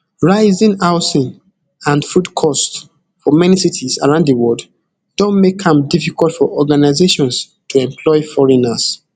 rising housing and food cost for many cities around di world don make am difficult for organizations to employ foreigners